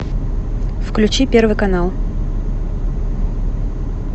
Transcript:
включи первый канал